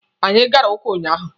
Anyị gara ụka ụnyaahụ.